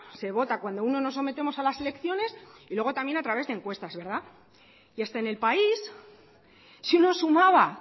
se vota cuando nos sometemos a las elecciones y luego también a través de encuestas y hasta en el país si uno sumaba